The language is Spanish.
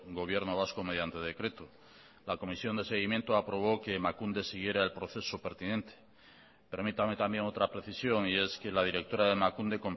gobierno vasco mediante decreto la comisión de seguimiento aprobó que emakunde siguiera el proceso pertinente permítame también otra precisión y es que la directora de emakunde